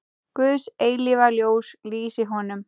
Guðs eilífa ljós lýsi honum.